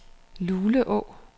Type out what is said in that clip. Luleå